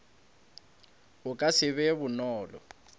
go ka se be bonolo